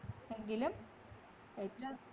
എങ്കിലും